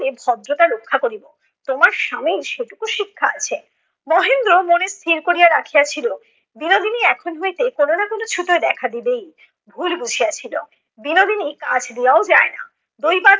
এ ভদ্রতা রক্ষা করিব। তোমার স্বামীর সেটুকু শিক্ষা আছে। মহেন্দ্র মনে স্থির করিয়া রাখিয়াছিল, বিনোদিনী এখন হইতে কোন না কোন ছুতোয় দেখা দিবেই। ভুল বুঝিয়াছিল। বিনোদিনী কাছ দিয়েও যায় না। দৈবাৎ